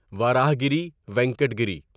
وراہاگری وینکٹا گیری